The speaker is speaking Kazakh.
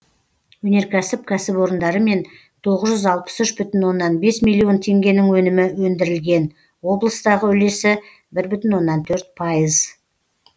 өнеркәсіп кәсіпорындарымен тоғыз жүз алпыс үш бүтін оннан бес миллион теңгенің өнімі өндірілген облыстағы үлесі бір бүтін оннан төрт пайыз